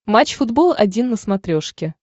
матч футбол один на смотрешке